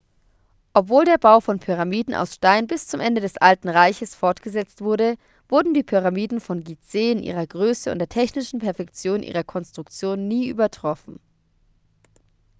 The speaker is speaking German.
obwohl der bau von pyramiden aus stein bis zum ende des alten reiches fortgesetzt wurde wurden die pyramiden von gizeh in ihrer größe und der technischen perfektion ihrer konstruktion nie übertroffen